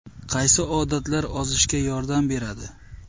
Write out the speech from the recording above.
Qaysi odatlar ozishga yordam beradi?